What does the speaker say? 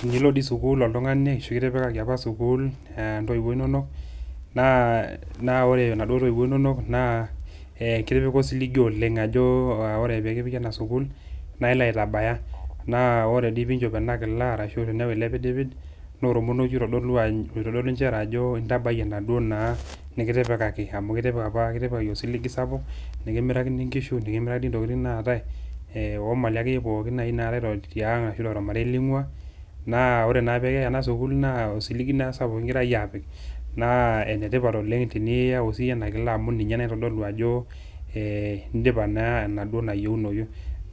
Tenilo dii sukul oltungani ashu kitipikaki apa sukul intoiwuo inonok naa ore inaduo toiwuo inonok naa kitipika osiligi oleng ajo ore pekipiki enasukul naa ilo aitabaya naa ore pinchok enakila ashu tenipik elepidpid naa ormonokie oitodolu ajo ntabayie enaduo naa nikitipikaki amu kitipikaki apa osiligi sapuk nikimirakini nkishu , nikimirakini imali akeyie pookin naatae tiang ashu tenkang ningwaa naa enetipat teniyau siyie enakila amu ninye naitodolu ajo indipa naa enaduo nayieunoyu